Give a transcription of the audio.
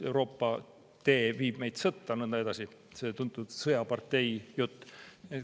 Euroopa tee viib meid sõtta ja nõnda edasi – tuntud sõjapartei jutt.